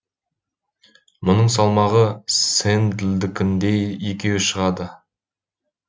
мұның салмағы сэндлдікіндей екеу шығады